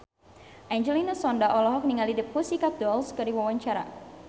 Angelina Sondakh olohok ningali The Pussycat Dolls keur diwawancara